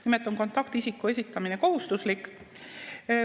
Nimelt on kontaktisiku esitamine kohustuslik.